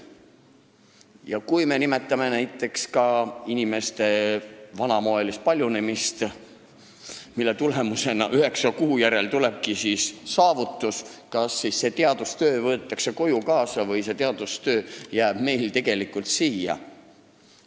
Ja kui me mõtleme inimeste vanamoelisele paljunemisele, nii et üheksa kuu järel näeme saavutust, kas siis see teadustöö võetakse koju kaasa või see jääb tegelikult siia?